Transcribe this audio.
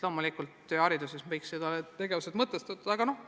Loomulikult võiks hariduses korraldatud tegevused mõtestatud olla.